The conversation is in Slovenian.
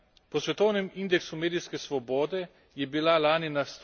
Po svetovnem indeksu medijske svobode je bila lani na